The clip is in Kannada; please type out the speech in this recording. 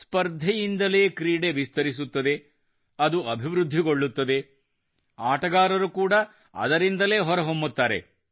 ಸ್ಪರ್ಧೆಯಿಂದಲೇ ಕ್ರೀಡೆ ವಿಸ್ತರಿಸುತ್ತದೆ ಅದು ಅಭಿವೃದ್ಧಿಗೊಳ್ಳುತ್ತದೆ ಆಟಗಾರರು ಕೂಡ ಅದರಿಂದಲೇ ಹೊರಹೊಮ್ಮುತ್ತಾರೆ